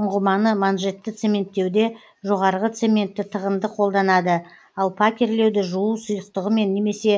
ұңғыманы манжетті цементтеуде жоғарғы цементті тығынды қолданады ал пакерлеуді жуу сұйықтығымен немесе